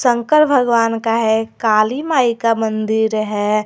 शंकर भगवान का है काली माई का मंदिर है।